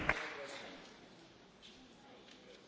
Mówiłem o absurdalnych prawach kobiet.